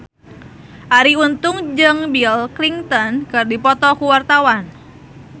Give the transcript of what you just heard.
Arie Untung jeung Bill Clinton keur dipoto ku wartawan